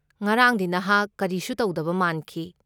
ꯉꯔꯥꯡꯗꯤ ꯅꯍꯥꯛ ꯀꯔꯤꯁꯨ ꯇꯧꯗꯕ ꯃꯥꯟꯈꯤ꯫